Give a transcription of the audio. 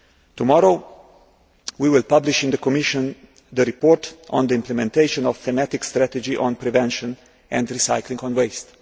Tomorrow, we will publish in the Commission the report on the implementation of a thematic strategy on prevention and recycling of waste.